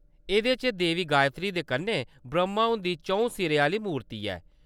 एह्‌‌‌दे च देवी गायत्री दे कन्नै ब्रह्‌मा हुंदी चौं सिरें आह्‌‌‌ली मूर्ति ऐ।